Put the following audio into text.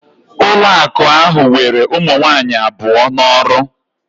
Ụlọakụ ahụ were ụmụ nwaanyị abụọ n'ọrụ